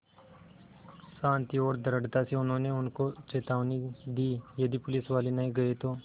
शान्ति और दृढ़ता से उन्होंने उनको चेतावनी दी यदि पुलिसवाले नहीं गए तो